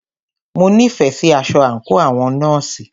Mo nífẹẹ sí aṣọ àńkò àwọn nọ́ọ̀sì.